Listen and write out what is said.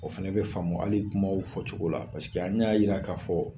O fɛnɛ be faamu hali kumaw fɔcogo la an y'a yira k'a fɔ